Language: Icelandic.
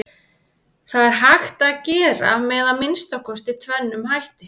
Það er hægt að gera með að minnsta kosti tvennum hætti.